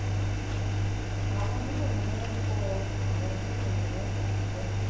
àwọn náà ni wọn kọ ọ àwọn náà ni wọn bà á jẹ